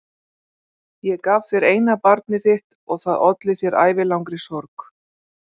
Ég gaf þér eina barnið þitt og það olli þér ævilangri sorg.